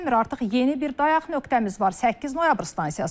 Artıq yeni bir dayaq nöqtəmiz var, 8 noyabr stansiyası.